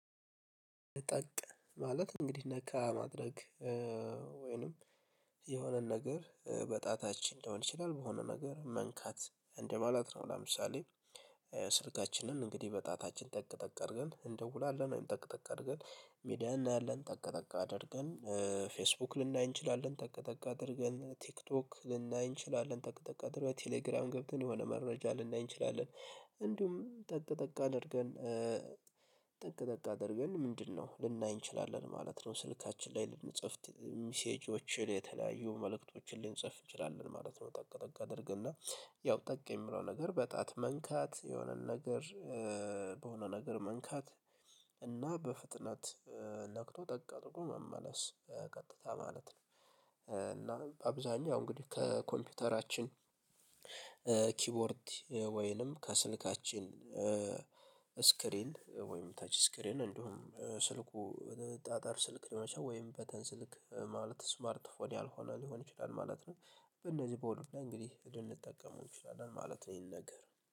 ጠቅ ማለት እንግዲህ ነካ ማድረግ ወይንም የሆነን ነገር በጣታችን እንደሆነ ይችላል በሆነ ነገር መንካት እንደማለት ነው። ለምሳሌ ስልካችንን እንግዲህ በጣታችን ጠቅ ጠቅ አድርገን እንደውላለን ወይም ጠቅ ጠቅ አድርገን ሚዲያ እናያለን ጠቅ ጠቅ አድርገን ፌስቡክ ልናይ እንችላለን ጠቅ ጠቅ አድርገን ቲክቶክ ልናይ እንችላለን ጠቅ ጠቅ አድርገን ቴሌግራም ገብተን የሆነ መረጃ ልናይ እንችላለን። እንዲሁም ጠቅ ጠቅ አድርገን ጠቅ ጠቅ አድርገን ምንድነው ልናይ እንችላለን ማለት ነው። ስልካችን ላይ ልንጽፍ ሚሴጆችን የተለያዩ መልእክቶችን ልንጽፍ እንችላለን ማለት ነው። ጠቅጠቅ አድርገን እና ያው ጠቅም የምንለው ነገር በጣት መንካት የሆነን ነገር ነገር መንካት እና በፍጥነት ነክቶ ጠቃ ጥቆ መመለስ ቀጥታ ማለት ነው። እና አብዛኛው እንግዲህ ከኮምፒውተራችን ኪቦርድ ወይንም ከስልካችን ስክሪን ወይም ታች ስክሪን እንደሆነ ስልኩ ጣጣር ስልክ ደመሻ ወይም በተን ስልክ ማለት ስማርት ስልክ ያልሆነ ሊሆን ይችላል ማለት ነው። እነዚህ በወሎዳ እንግዲህ እድል ልጠቀመው እንችላለን ማለት ነው ይሄን ነገር